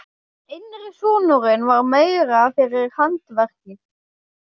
Yngri sonurinn var meira fyrir handverkið.